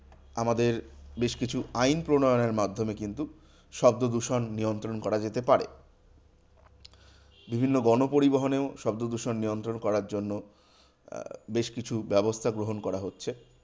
আমাদের বেশ কিছু আইন প্রণয়নের মাধ্যমে কিন্তু শব্দদূষণ নিয়ন্ত্রণ করা যেতে পারে। বিভিন্ন গণপরিবহনেও শব্দদূষণ নিয়ন্ত্রণ করার জন্য আহ বেশকিছু ব্যবস্থা গ্রহণ করা হচ্ছে।